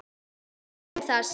Njótum þess.